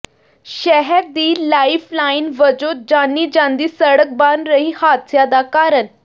ਸ਼ਹਿਰ ਦੀ lifeline ਵਜੋਂ ਜਾਣੀ ਜਾਂਦੀ ਸੜਕ ਬਣ ਰਹੀ ਹਾਦਸਿਆਂ ਦਾ ਕਾਰਨ